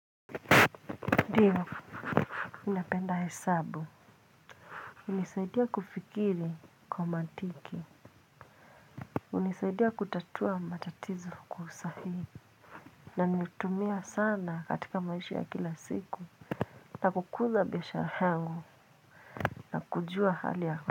Ndiyo mi napenda hesabu hunisaidia kufikiri kwa mantiki hunisaidia kutatua matatizo kwa usahihi na nimetumia sana katika maishi ya kila siku na kukuza biashara yangu na kujua hali ya.